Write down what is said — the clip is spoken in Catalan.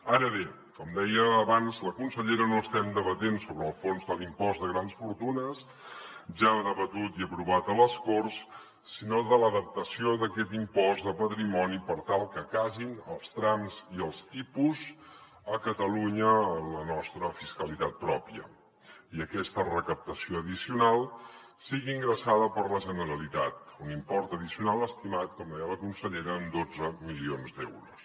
ara bé com deia abans la consellera no estem debatent sobre el fons de l’impost de grans fortunes ja debatut i aprovat a les corts sinó de l’adaptació d’aquest impost de patrimoni per tal que casin els trams i els tipus a catalunya en la nostra fiscalitat pròpia i aquesta recaptació addicional sigui ingressada per la generalitat un import addicional estimat com deia la consellera en dotze milions d’euros